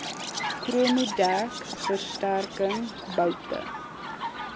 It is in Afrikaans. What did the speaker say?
chromodek versterking boute